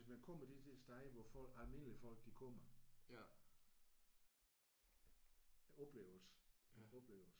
Hvis man kommer de der steder hvor folk almindelige folk de kommer oplevelse oplevelse